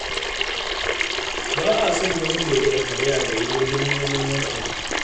Ba a son namiji ya riƙa karaya da wuri wajen neman wani abu.